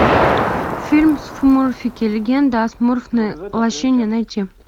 фильм смурфики легенда о смурфной лощине найти